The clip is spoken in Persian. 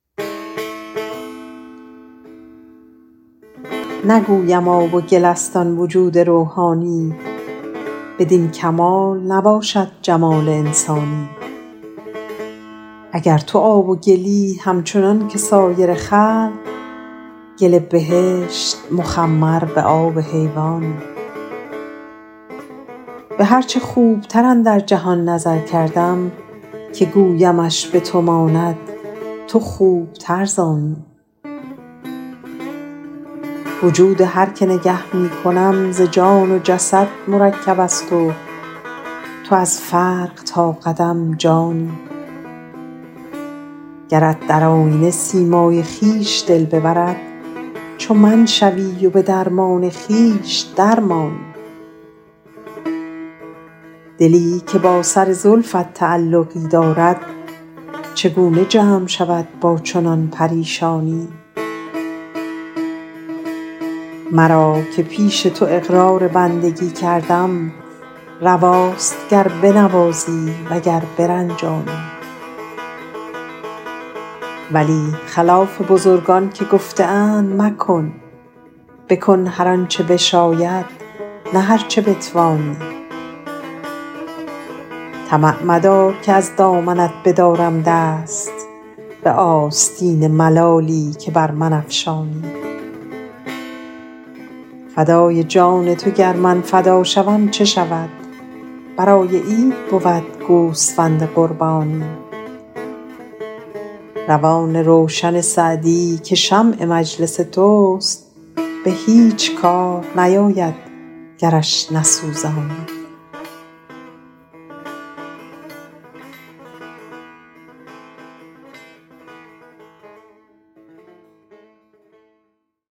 نگویم آب و گل است آن وجود روحانی بدین کمال نباشد جمال انسانی اگر تو آب و گلی همچنان که سایر خلق گل بهشت مخمر به آب حیوانی به هر چه خوبتر اندر جهان نظر کردم که گویمش به تو ماند تو خوبتر ز آنی وجود هر که نگه می کنم ز جان و جسد مرکب است و تو از فرق تا قدم جانی گرت در آینه سیمای خویش دل ببرد چو من شوی و به درمان خویش در مانی دلی که با سر زلفت تعلقی دارد چگونه جمع شود با چنان پریشانی مرا که پیش تو اقرار بندگی کردم رواست گر بنوازی و گر برنجانی ولی خلاف بزرگان که گفته اند مکن بکن هر آن چه بشاید نه هر چه بتوانی طمع مدار که از دامنت بدارم دست به آستین ملالی که بر من افشانی فدای جان تو گر من فدا شوم چه شود برای عید بود گوسفند قربانی روان روشن سعدی که شمع مجلس توست به هیچ کار نیاید گرش نسوزانی